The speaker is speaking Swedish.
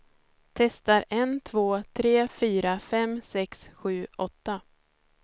Testar en två tre fyra fem sex sju åtta.